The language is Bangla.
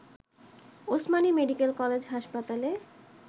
ওসমানী মেডিকেল কলেজ হাসপাতালে